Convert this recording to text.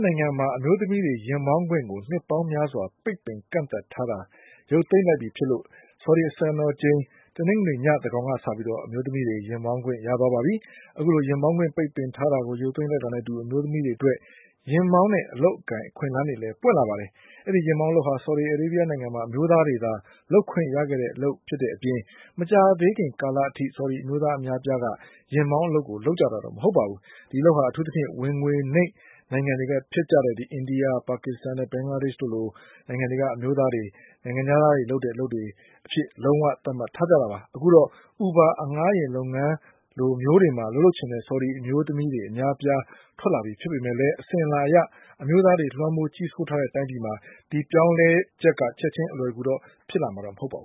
နိုင်ငံမှာ အမျိုးသမီးတွေ ယာဉ်မောင်းခွင့်ကို နှစ်ပေါင်းများစွာ ပိတ်ပင်ကန့်သတ်ထားတာ ရုပ်သိမ်းလိုက်ပြီ ဖြစ်တာကြောင့် ဆော်ဒီစံတော်ချိန် တနင်္ဂနွေညသန်းခေါင်ကစပြီး အမျိုးသမီးတွေ ယာဉ်မောင်းခွင့် ရသွားပါပြီ။ အခုလို ယာဉ်မောင်းခွင့် ပိတ်ပင်ထားတာကို ရုပ်သိမ်းလိုက်တာနဲ့အတူ အမျိုးသမီးတွေအတွက် ယာဉ်မောင်း အလုပ်အကိုင် အခွင့်အလန်းလည်း ပွင့်လာပါတယ်။ အဲဒီယာဉ်မောင်းအလုပ်ဟာ ဆော်ဒီမှာ အမျိုးသားတွေသာ လုပ်ခွင့်ရတဲ့အလုပ် ဖြစ်တဲ့အပြင် မကြာသေးခင်ကာလကအထိ ဆော်ဒီအမျိုးသား အများအပြားက ယာဉ်မောင်းအလုပ်ကို လုပ်ကြတာမဟုတ်ပါဘူး။ ဒီအလုပ်ဟာ အထူးသဖြင့် ဝင်ငွေနိမ့်နိုင်ငံ တွေဖြစ်တဲ့ အိန္ဒိယ၊ ပါကစ္စတန်နဲ့ ဘင်္ဂလာဒေ့ရှ်က အမျိုးသားတွေလို နိုင်ငံခြားသားတွေလုပ်တဲ့ အလုပ်အဖြစ် လုံးဝ သတ်မှတ် ထားကြတာပါ။ အခုတော့ Uber အငှားယာဉ်လုပ်ငန်းလိုမျိုးတွေမှာ အလုပ်လုပ်ချင်တဲ့ ဆော်ဒီအမျိုးသမီး အများအပြား ထွက်လာပြီဖြစ်ပေမဲ့လည်း အစဉ်အလာအရ အမျိုးသားတွေ လွှမ်းမိုး ကြီးစိုးထားတဲ့တိုင်းပြည်မှာ ဒီအပြောင်းအလဲက ချက်ခြင်း အလွယ်တကူတော့ ဖြစ်လာ မှာမဟုတ်ပါဘူ